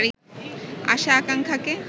আশা-আকাঙ্ক্ষাকে